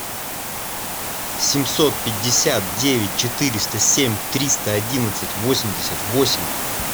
семьсот пятьдесят девять четыреста семь триста одиннадцать восемьдесят восемь